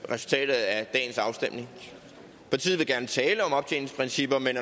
resultatet af dagens afstemning partiet vil gerne tale om optjeningsprincipper men